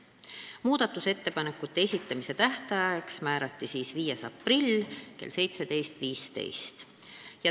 Muudatusettepanekute esitamise tähtajaks määrati 5. aprill kell 17.15.